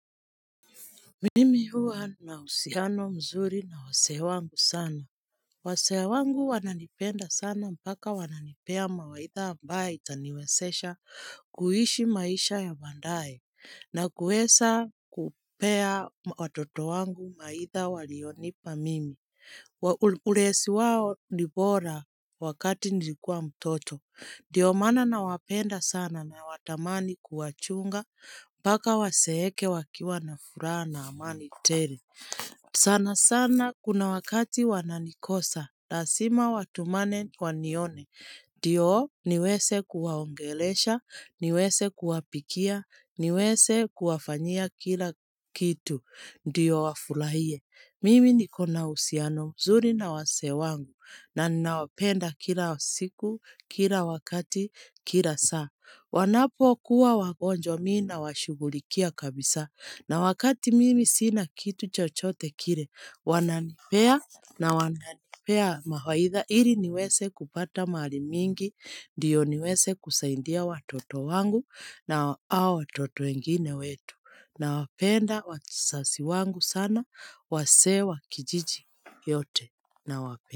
Mimi huwa na uhusiano mzuri na wazee wangu sana. Wazee wangu wananipenda sana mpaka wananipea mawaidha ambaye itaniwezesha kuishi maisha ya baadaye. Na kueza kupea watoto wangu mawaidha walionipa mimi. Ulezi wao ni bora wakati nilikuwa mtoto. Ndio maana nawapenda sana nawatamani kuwachunga, mpaka wazeeke wakiwa na furaha na amani tele. Sana sana kuna wakati wananikosa, lazima watumane wanione. Ndio niweze kuwaongelesha, niweze kuwapikia, niweze kuwafanyia kila kitu. Ndiyo wafurahie, mimi niko na uhusiano, mzuri na wazee wangu, na ninawapenda kila siku, kila wakati, kila saa. Wanapokuwa wagonjwa mimi nawashughulikia kabisa, na wakati mimi sina kitu chochote kile, wananipea na wananipea mawaidha, ili niweze kupata mahari mingi, Ndiyo niweze kusaidia watoto wangu na hao watoto wengine wetu nawapenda wazazi wangu sana wazee wa kijiji yote nawapenda.